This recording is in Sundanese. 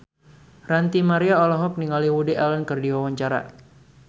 Ranty Maria olohok ningali Woody Allen keur diwawancara